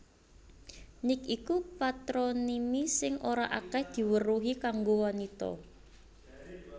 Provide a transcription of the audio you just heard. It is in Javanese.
Nic iku patronimi sing ora akèh diweruhi kanggo wanita